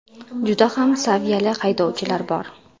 Juda ham saviyali haydovchilar bor.